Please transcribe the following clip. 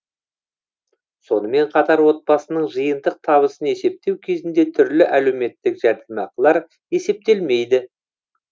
сонымен қатар отбасының жиынтық табысын есептеу кезінде түрлі әлеуметтік жәрдемақылар есептелмейді